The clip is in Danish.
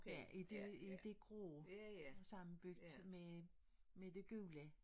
Ja i det i det grå sammenbygget med med det gule